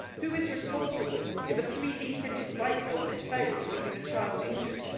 Who is responsible if a 3D printed bike helmet fails, leaving a child injured?